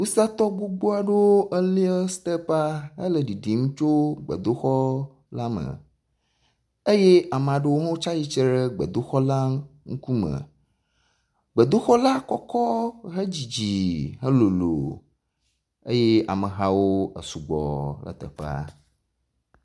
Wusatɔ gbogbo aɖewo eloia step la hele ɖiɖim tso gbedoxɔla me, eye ame aɖewo ts atsitre ɖe gbedoxɔla ŋkume. Gbedoxɔla elolo kɔkɔ hedzidzi eye amehawo esugbɔ ɖe teƒea.